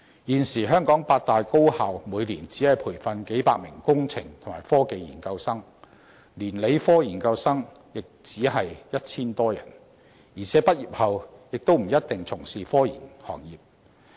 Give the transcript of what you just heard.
現時，香港八大高校每年只培訓數百名工程和科技研究生，連理科研究生亦只有 1,000 多人，而且他們在畢業後也不一定從事科研行業。